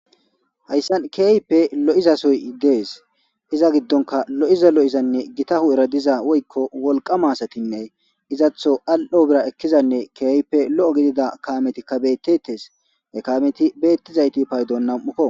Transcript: Hayssan keeyipe lo'izasoy dees iza giddonka lo'iza lo'izanne gitahu'eradiza oykko wolqama asatinne izatho al'o bira ekkizanne keeype lo'o gidida kaametikka bettetes ekaameti beettizayti paydonnau'okko.